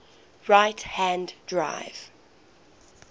right hand drive